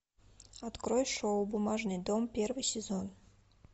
открой шоу бумажный дом первый сезон